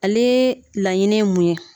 Ale laɲini ye mun ye.